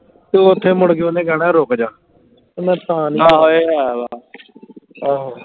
ਤੇ ਓਥੇ ਮੁੜਕੇ ਓਹਨੇ ਕਹਿਣਾ ਰੁਕ ਜਾ ਮੈਂ ਤਾਂ ਨਹੀਂ ਆਹੋ